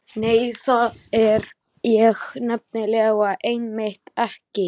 Nei, það er ég nefnilega einmitt ekki.